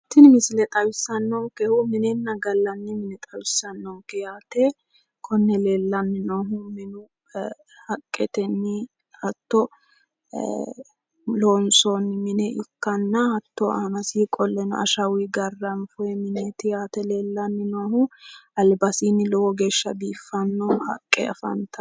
tini misile xawissannonkehu minena gallanni mine xawissannonke yaate konne leellanni noohu minu haqqetenni hato ee loonsoonni mine ikkana hatto aanasiinni qolle ashawunni garranfooyi mineeti yaate leellanni noohu albasiinni lowo geeshsha biiffanno haqqe afantanno.